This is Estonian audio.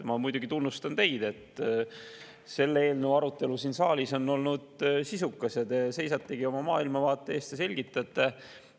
Ma muidugi tunnustan teid, et siin saalis on selle eelnõu arutelu olnud sisukas ja te seisategi oma maailmavaate eest ja selgitate seda.